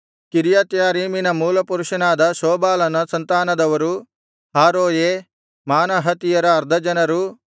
ಕಿರ್ಯತ್ಯಾರೀಮಿನ ಮೂಲಪುರುಷನಾದ ಶೋಬಾಲನ ಸಂತಾನದವರು ಹಾರೋಯೆ ಮಾನಹತಿಯರ ಅರ್ಧ ಜನರು